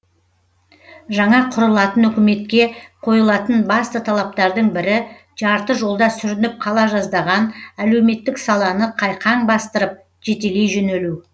жаңа құрылатын үкіметке қойылатын басты талаптардың бірі жарты жолда сүрініп қала жаздаған әлеуметтік саланы қайқаң бастырып жетелей жөнелу